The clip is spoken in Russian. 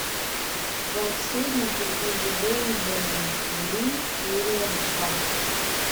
волшебники из вэйверли плэйс серия два